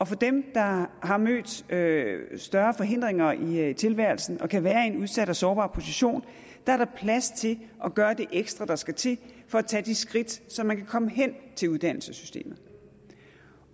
for dem der har mødt større større forhindringer i tilværelsen og kan være i en udsat og sårbar position er plads til at gøre det ekstra der skal til for at tage de skridt så man kan komme hen til uddannelsessystemet